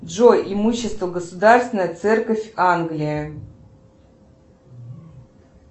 джой имущество государственная церковь англия